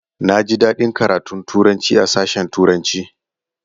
Na ji daɗin karatun Turanci a sashen turanci